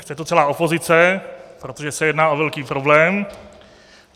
Chce to celá opozice, protože se jedná o velký problém.